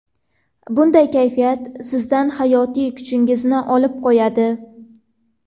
Bunday kayfiyat sizdan hayotiy kuchingizni olib qo‘yadi.